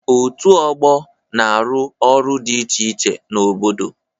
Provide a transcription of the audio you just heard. Òtù ọgbọ na-arụ ọrụ dị iche iche n'obodo.